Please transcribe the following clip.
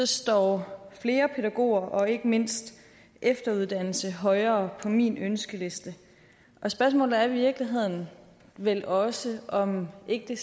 står flere pædagoger og ikke mindst efteruddannelse højere på min ønskeliste spørgsmålet er i virkeligheden vel også om ikke det